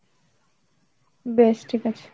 বেশ ঠিক আছে।